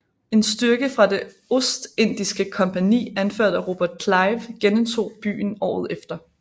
En styrke fra det Ostindiske Kompagni anført af Robert Clive genindtog byen året efter